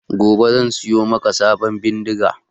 Gobe zan siyo maka sabon bindiga